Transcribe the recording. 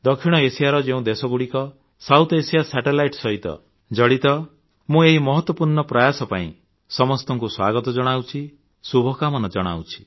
ଦକ୍ଷିଣ ଏସିଆର ଯେଉଁ ଦେଶଗୁଡ଼ିକ ସାଉଥ୍ ଏଏସଆଇଏ ସାଟେଲାଇଟ୍ ସହିତ ଜଡ଼ିତ ମୁଁ ଏହି ମହତ୍ୱପୂର୍ଣ୍ଣ ପ୍ରୟାସ ପାଇଁ ସମସ୍ତଙ୍କୁ ସ୍ୱାଗତ ଜଣାଉଛି ଶୁଭକାମନା ଜଣାଉଛି